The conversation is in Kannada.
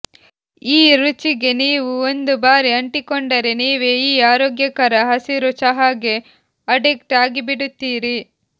ಈ ರುಚಿಗೆ ನೀವು ಒಂದು ಬಾರಿ ಅಂಟಿಕೊಂಡರೆ ನೀವೇ ಈ ಆರೋಗ್ಯಕರ ಹಸಿರು ಚಹಾಗೆ ಅಡಿಕ್ಟ್ ಆಗಿಬಿಡುತ್ತೀರಿ